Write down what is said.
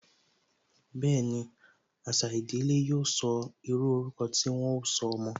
Bẹẹni, àṣà ìdílé yóò sọ, írú ọrúkọ tí wọn ó sọ ọmọ